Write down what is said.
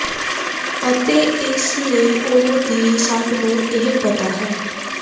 ਅਤੇ ਇਸ ਲਈ ਉਹ ਦੀ ਸਭ ਨੂੰ ਇਹ ਪਤਾ ਹੈ